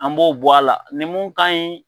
An b'o bɔ a la ni mun ka ɲi